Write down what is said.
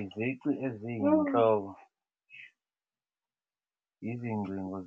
Izici eziyinhloko izingcingo